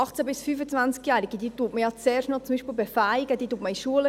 18- bis 25-Jährige, diese befähigt man ja zum Beispiel zuerst noch.